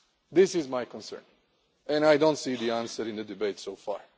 This is my concern and I do not see the answer in the debate so far.